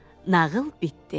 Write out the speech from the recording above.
Nağıl bitdi.